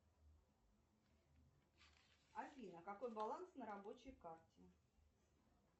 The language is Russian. афина какой баланс на рабочей карте